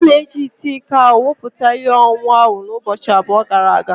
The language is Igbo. A na-eji ite iko ahụ wụputa ihe ọṅụṅụ ahụ ụbọchị abụọ gara aga.